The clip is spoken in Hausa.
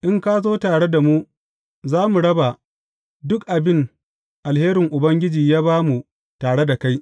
In ka zo tare da mu, za mu raba duk abin alherin Ubangiji ya ba mu tare da kai.